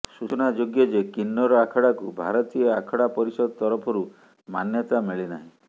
ସୂଚନାଯୋଗ୍ୟ ଯେ କିନ୍ନର ଆଖଡାକୁ ଭାରତୀୟ ଆଖଡା ପରିଷଦ ତରଫରୁ ମାନ୍ୟତା ମିଳିନାହିଁ